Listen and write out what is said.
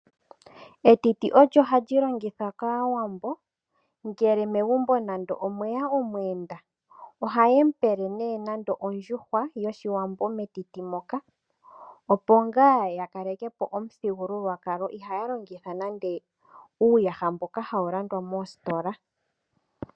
Etiti olyo hali longithwa kAawambo ngele megumbo mwe ya omuyenda. Ohaye mu pe nando ondjuhwa yoshiwambo metiti moka opo ngaa ya kaleke po omuthigululwakalo, iha ya longitha nande uuyaha mboka hawu landwa moositola.